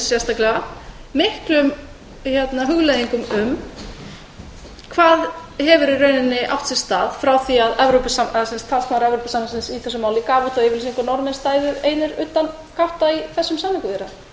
sérstaklega fær mann þó til að hugleiða hvað hafi átt sér stað frá því að talsmaður sambandsins í þessu máli gaf út þá yfirlýsingu að norðmenn stæðu einir utangátta í þessum samningaviðræðum